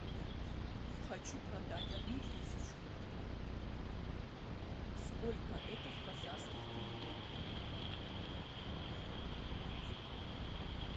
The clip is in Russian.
хочу продать одну тысячу сколько это в казахских тенге